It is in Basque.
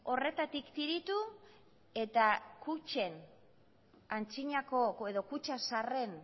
horretatik tiratu eta kutxa zaharren